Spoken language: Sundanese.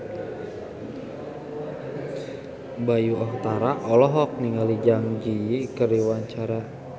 Bayu Octara olohok ningali Zang Zi Yi keur diwawancara